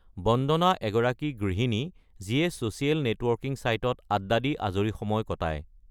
বন্দনা এগৰাকী গৃহিণী যিয়ে ছ’চিয়েল নেটৱৰ্কিং চাইটত আড্ডা দি আজৰি সময় কটায়।